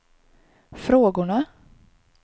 frågorna